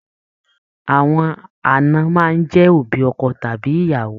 Àwọn aana máa n jẹ òbí ọkọ tàbí ìyàwó.